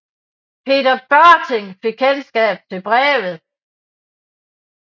Peter Børting fik kendskab til brevet